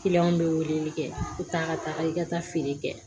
bɛ weleli kɛ i bɛ taa ka taga i ka taa feere kɛ